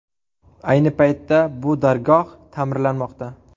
Ayni paytda bu dargoh ta’mirlanmoqda.